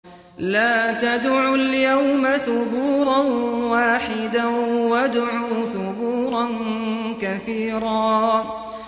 لَّا تَدْعُوا الْيَوْمَ ثُبُورًا وَاحِدًا وَادْعُوا ثُبُورًا كَثِيرًا